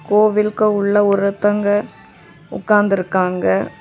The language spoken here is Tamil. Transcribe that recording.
கோவில்க உள்ள ஒருதங்க உக்காந்து இருக்காங்க.